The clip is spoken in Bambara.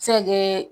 Se kɛ